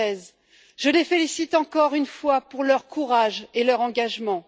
2016. Je les félicite encore une fois, pour leur courage et leur engagement.